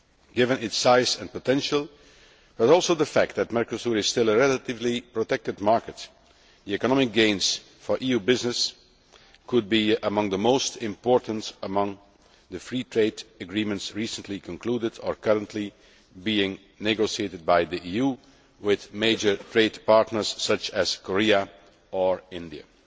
Given its size and potential, and also the fact that Mercosur is still a relatively protected market, the economic gains for EU business could be among the most important of the free trade agreements recently concluded or currently being negotiated by the EU with major trade partners such as Korea or India.